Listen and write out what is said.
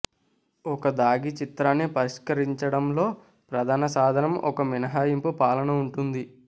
ఒక దాగి చిత్రాన్ని పరిష్కరించడంలో ప్రధాన సాధనం ఒక మినహాయింపు పాలన ఉంటుంది